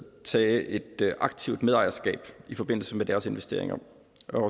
tage et aktivt medejerskab i forbindelse med deres investeringer